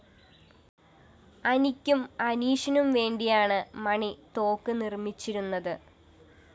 അനിക്കും അനീഷിനും വേണ്ടിയാണ് മണി തോക്ക് നിര്‍മ്മച്ചിരുന്നത്